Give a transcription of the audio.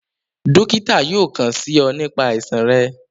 Dokita yóò kàn sí ọ nípa àìsàn rẹ